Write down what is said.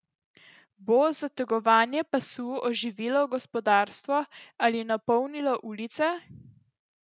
Bo zategovanje pasu oživilo gospodarstvo ali napolnilo ulice?